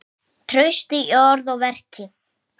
Traust í orði og verki.